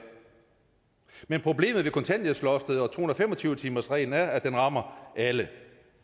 men problemet ved kontanthjælpsloftet og to hundrede og fem og tyve timersreglen er at det rammer alle